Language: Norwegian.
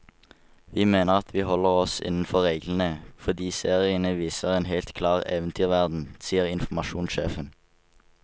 Vi mener at vi holder oss innenfor reglene, fordi seriene viser en helt klar eventyrverden, sier informasjonssjefen.